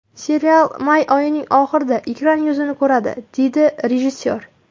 Serial may oyining oxirida ekran yuzini ko‘radi”, dedi rejissyor.